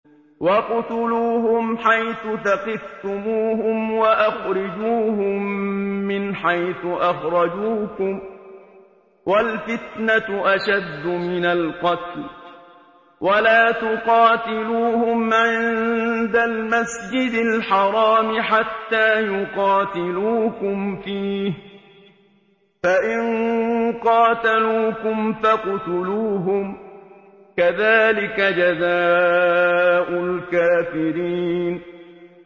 وَاقْتُلُوهُمْ حَيْثُ ثَقِفْتُمُوهُمْ وَأَخْرِجُوهُم مِّنْ حَيْثُ أَخْرَجُوكُمْ ۚ وَالْفِتْنَةُ أَشَدُّ مِنَ الْقَتْلِ ۚ وَلَا تُقَاتِلُوهُمْ عِندَ الْمَسْجِدِ الْحَرَامِ حَتَّىٰ يُقَاتِلُوكُمْ فِيهِ ۖ فَإِن قَاتَلُوكُمْ فَاقْتُلُوهُمْ ۗ كَذَٰلِكَ جَزَاءُ الْكَافِرِينَ